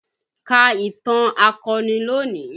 Ka ìtàn akọni lónìí!